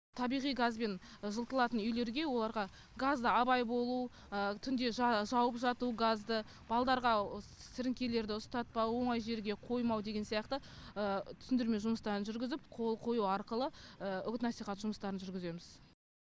табиғи газбен жылытылатын үйлерге оларға газды абай болу түнде жауып жату газды балдарға сіріңкелерді ұстатпау оңай жерге қоймау деген сияқты түсіндірме жұмыстарын жүргізіп қол қою арқылы үгіт насихат жұмыстарын жүргіземіз